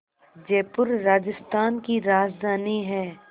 जयपुर राजस्थान की राजधानी है